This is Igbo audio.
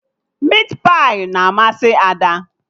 Mit pai na amasị Ada